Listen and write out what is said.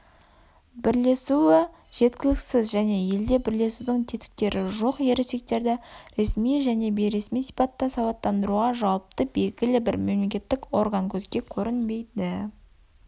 бірлесуі жеткіліксіз және елде бірлесудің тетіктері жоқ ересектерді ресми және бейресми сипатта сауаттандыруға жауапты белгілі бір мемлекеттік органкөзге көрінбейді